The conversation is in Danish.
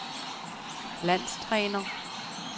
landstræner